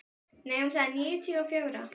Nei, hún sagði níutíu og fjögra.